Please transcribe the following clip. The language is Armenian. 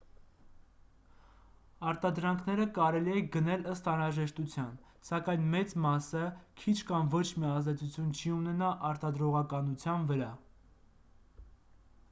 արտադրանքները կարելի է գնել ըստ անհրաժեշտության սակայն մեծ մասը քիչ կամ ոչ մի ազդեցություն չի ունենա արտադրողականության վրա